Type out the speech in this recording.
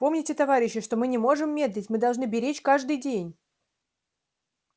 помните товарищи что мы не можем медлить мы должны беречь каждый день